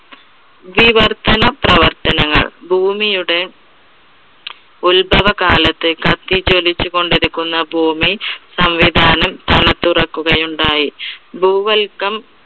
ദിവർത്തന പ്രവർത്തനങ്ങൾ, ഭൂമിയുടെ ഉൽഭവകാലത്ത് കത്തിജ്വലിച്ചുകൊണ്ടിരിക്കുന്ന ഭൂമി സംവിധാനം തണുത്തുറക്കുകയുണ്ടായി. ഭൂവൽകം